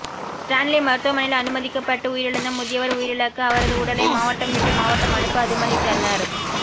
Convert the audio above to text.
Stanley மருத்துவமனையில் அனுமதிக்கப்பட்டு உயிரிழந்த முதியவர் உயிரிழக்க அவரது உடலை மாவட்டம் விட்டு மாவட்டம் அனுப்ப அனுமதித்தனர்